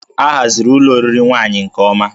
A haziri ụlọ oriri nwaanyị nke ọma